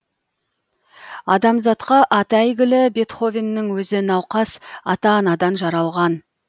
адамзатқа аты әйгілі бетховеннің өзі науқас ата анадан жаралған